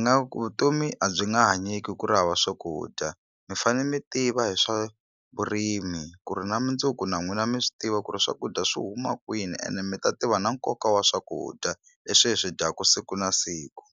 nga vutomi a byi nga hanyeki ku ri ri hava swakudya mi fane mi tiva hi swa vurimi ku ri na mundzuku na n'wina mi swi tiva ku ri swakudya swi huma kwini ene mi ta tiva na nkoka wa swakudya leswi hi swi dyaku siku na siku.